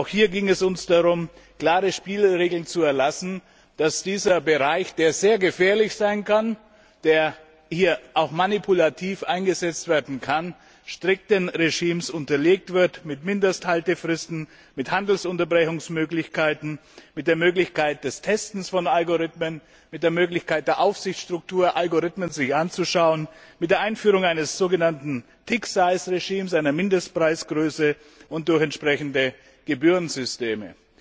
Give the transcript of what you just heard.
Auch hier ging es uns darum, klare Spielregeln zu erlassen, damit dieser Bereich, der sehr gefährlich sein kann und auch manipulativ eingesetzt werden kann, strikten Regimes unterliegt, mit Mindesthaltefristen, mit Handelsunterbrechungsmöglichkeiten, mit der Möglichkeit des Testens von Algorithmen, mit der Möglichkeit innerhalb der Aufsichtsstruktur, sich Algorithmen anzuschauen, mit der Einführung eines so genannten Tick size Regimes, einer Mindestpreisgröße, und durch entsprechende Gebührensysteme.